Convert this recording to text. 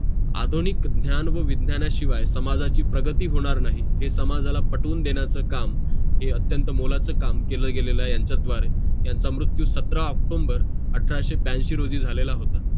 आधुनिक ज्ञान व विज्ञाना शिवाय समाजाची प्रगती होणार नाही हे समाजाला पटवून देण्याचं काम हे अत्यंत मोलाचं काम केलेगेलेला आहे यांचासव आहे यांचं मृत्यू सतरा अक्टोम्बर अठराशे ब्याशी रोजी झालेला होता